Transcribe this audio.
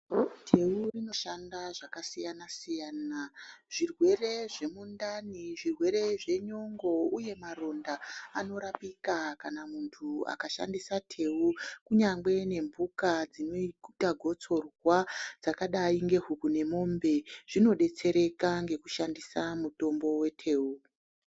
Teu rinoshanda zvakasiyana-siyana zvirwere zvemundani, zvirwere zvenyongo uye maronda anorapika kana muntu akashandisa teu kunyangwe nemhuka dzinoita gotsorwa dzakadai ngehuku nemombe zvinodetsereka ngekushandisa mutombo weteu.